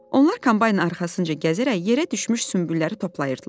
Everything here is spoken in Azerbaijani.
Onlar kombaynın arxasınca gəzərək yerə düşmüş sümbülləri toplayırdılar.